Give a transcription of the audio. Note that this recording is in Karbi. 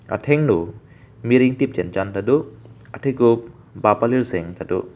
athengno mir ingtip chenchan tado athekuk bap palir seng tado.